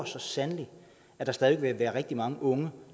så sandelig at der stadig væk vil være rigtig mange unge